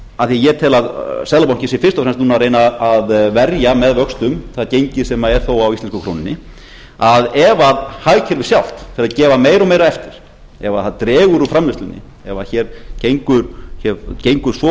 af því ég tel að seðlabankinn sé fyrst og fremst núna að reyna að verja með vöxtum það gengi sem er þó á íslensku krónunni að ef hagkerfið sjálft fer að gefa meira og meira eftir ef það dregur úr framleiðslunni ef það gengur svo